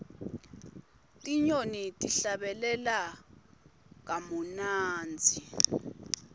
tinyoni tihlabelela kamunandzi